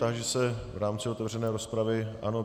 Táži se v rámci otevřené rozpravy - ano.